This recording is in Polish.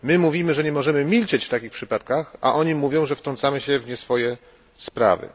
My mówimy, że nie możemy milczeć w takich przypadkach, a oni mówią, że wtrącamy się w nieswoje sprawy.